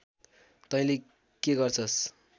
तैले के गर्छस्